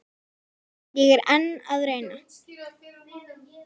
Ég er enn að reyna.